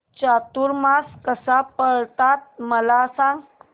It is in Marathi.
चातुर्मास कसा पाळतात मला सांग